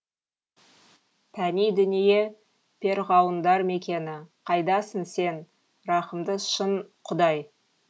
пәни дүние перғауындар мекені қайдасың сен рахымды шын құдаи